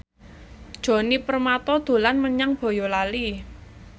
Djoni Permato dolan menyang Boyolali